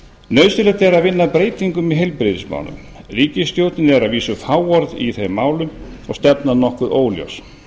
er að vinna að breytingum í heilbrigðismálum ríkisstjórnin er að vísu fáorð í þeim málum og stefnan nokkuð óljós